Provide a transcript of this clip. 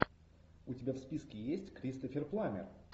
у тебя в списке есть кристофер пламмер